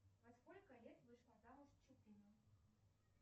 во сколько лет вышла замуж чупина